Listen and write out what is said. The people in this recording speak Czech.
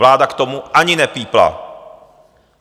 Vláda k tomu ani nepípla.